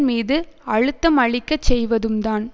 மீது அழுத்தம் அளிக்க செய்வதும் தான்